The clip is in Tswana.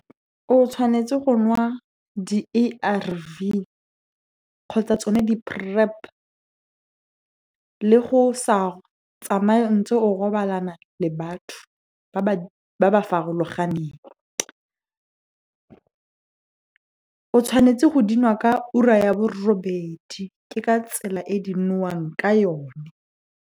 O tshwanetse go nwa di-A_R_V kgotsa tsone di-PrEP, le go sa tsamaye ntse o robalana le batho ba ba farologaneng. O tshwanetse go dinwa ka ura ya borobedi, ke ka tsela e di nwewang ka yone.